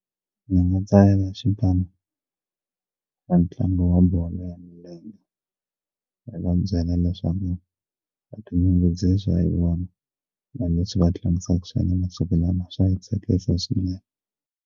Ndzi nga tsalela xipano xa ntlangu wa bolo ya milenge hi va byela leswaku ha ti nyungubyisa hi vona na leswi va tlangisaka swona masiku lama swa yi tsakisa swinene.